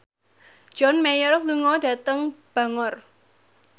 John Mayer lunga dhateng Bangor